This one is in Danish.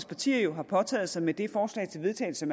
partier jo har påtaget sig med det forslag til vedtagelse